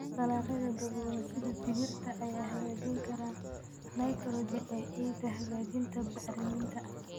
Dalagyada daboolan sida digirta ayaa hagaajin kara nitrogen ee ciidda, hagaajinta bacriminta.